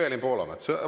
Evelin Poolamets?